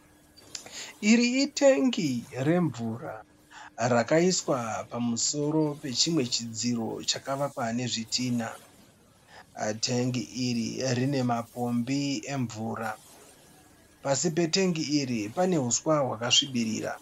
Iri itengi remvura rakaiswa pamusoro pechimwe chidziro chakavakwa nezvitinha. Tengi iri rine mapombi emvura. Pasi petengi iri pane huswa hwakasvibirira.